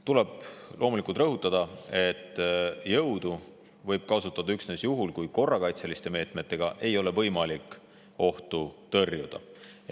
Tuleb loomulikult rõhutada, et jõudu võib kasutada üksnes juhul, kui korrakaitseliste meetmetega ei ole võimalik ohtu tõrjuda.